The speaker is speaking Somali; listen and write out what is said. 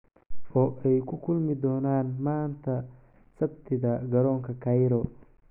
"oo ay ku kulmi doonaan maanta Sabtida garoonka Cairo."